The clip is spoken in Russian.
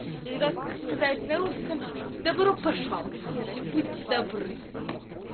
или как сказать на русском добро пожаловать будьте добры